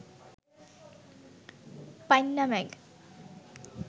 পাইন্না ম্যাগ